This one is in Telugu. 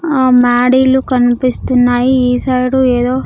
ఆ మ్యాడీలు కనిపిస్తున్నాయి ఈ సైడ్ ఏదో.